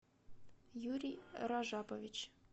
юрий ражапович